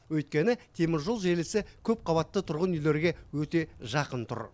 өйткені теміржол желісі көпқабатты тұрғын үйлерге өте жақын тұр